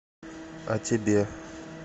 а тебе